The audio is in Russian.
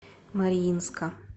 мариинска